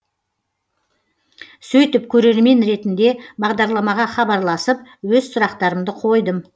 сөйтіп көрермен ретінде бағдарламаға хабарласып өз сұрақтарымды қойдым